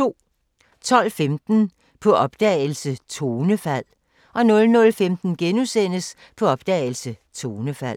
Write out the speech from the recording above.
12:15: På opdagelse – Tonefald 00:15: På opdagelse – Tonefald *